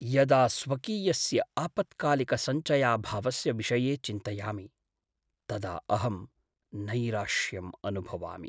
यदा स्वकीयस्य आपत्कालिकसञ्चयाभावस्य विषये चिन्तयामि तदा अहं नैराश्यम् अनुभवामि।